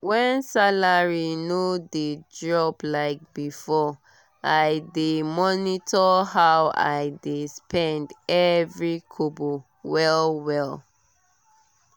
when salary no dey drop like before i dey monitor how i dey spend every kobo well-well.